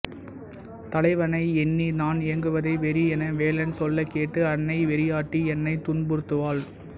தலைவனை எண்ணித் நான் ஏங்குவதை வெறி என வேலன் சொல்லக் கேட்டு அன்னை வெறியாட்டி என்னைத் துன்புறுத்துவாள்